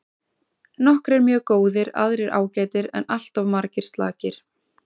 Nokkrir mjög góðir aðrir ágætir en alltof margir slakir.